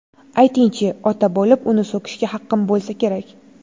Ayting-chi, ota bo‘lib uni so‘kishga haqqim bo‘lsa kerak?